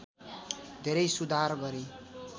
धेरै सुधार गरे